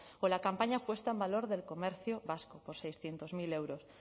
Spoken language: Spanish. o la campaña puesta en valor del comercio vasco por seiscientos mil euros